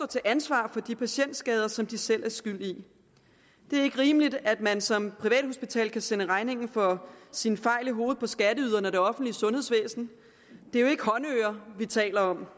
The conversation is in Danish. til ansvar for de patientskader som de selv er skyld i det er ikke rimeligt at man som privathospital kan sende regningen for sine fejl i hovedet på skatteyderne og det offentlige sundhedsvæsen det er jo ikke håndører vi taler om